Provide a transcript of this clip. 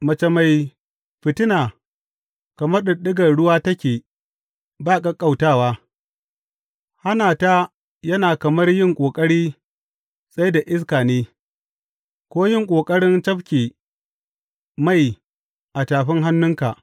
Mace mai fitina kamar ɗiɗɗigar ruwa take ba ƙaƙƙautawa; hana ta yana kamar yin ƙoƙari tsai da iska ne ko yin ƙoƙarin cafke mai a tafin hannunka.